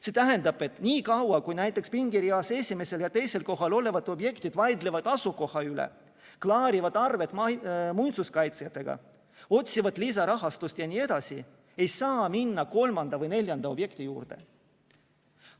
See tähendab, et niikaua kui näiteks pingereas esimesel ja teisel kohal olevad objektid vaidlevad asukoha üle, klaarivad arveid muinsuskaitsjatega, otsivad lisarahastust jne, ei saa minna kolmanda või neljanda objekti juurde.